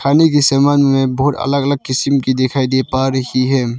समान में बहुत अलग अलग किस्म की दिखाई दे पा रही है।